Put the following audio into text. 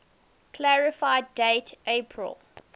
clarify date april